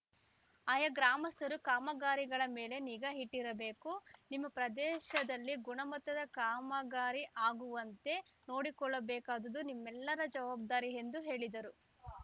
ಆಯಾ ಗ್ರಾಮಸ್ಥರು ಕಾಮಗಾರಿಗಳ ಮೇಲೆ ನಿಗಾ ಇಟ್ಟಿರಬೇಕು ನಿಮ್ಮ ಪ್ರದೇಶದಲ್ಲಿ ಗುಣಮಟ್ಟದ ಕಾಮಗಾರಿ ಆಗುವಂತೆ ನೋಡಿಕೊಳ್ಳಬೇಕಾದ್ದು ನಿಮ್ಮೆಲ್ಲರ ಜವಾಬ್ಧಾರಿ ಎಂದು ಹೇಳಿದರು